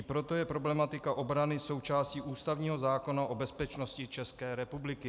I proto je problematika obrany součástí ústavního zákona o bezpečnosti České republiky.